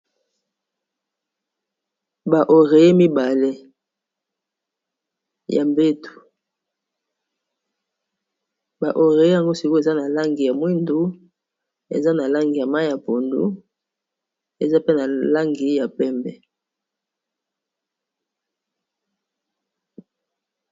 Awa namoni balakisi biso ba oreiller mibale ya mbeto baoreiller yango sikoyo eza na langi ya mwindu eza pe na langi ya mai ya pondu eza pe na langi ya pembe